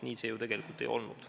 Nii see ju tegelikult ei olnud.